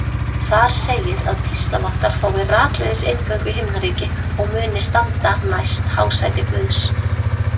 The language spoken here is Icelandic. Þar segir að píslarvottar fái rakleiðis inngöngu í himnaríki og muni standa næst hásæti Guðs.